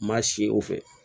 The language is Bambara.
Maa si o fɛ